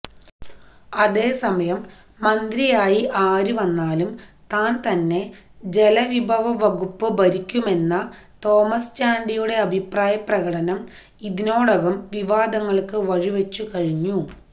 അതേസമയം മന്തിയായി ആരുവന്നാലും താൻ തന്നെ ജലവിഭവവകുപ്പു ഭരിക്കുമെന്ന തോമസ് ചാണ്ടിയുടെ അഭിപ്രായപ്രകടനം ഇതിനോടകം വിവാദങ്ങൾക്കു വഴിവച്ചു കഴിഞ്ഞു